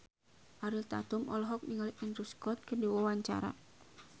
Ariel Tatum olohok ningali Andrew Scott keur diwawancara